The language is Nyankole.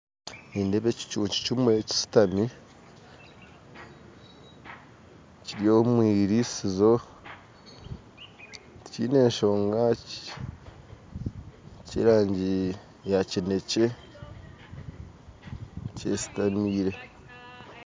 Nindeeba ekicuncu kimwe kishutami kiri omwirisizo tikiine nshonga n'eky'erangi ya kinekye kyesitamire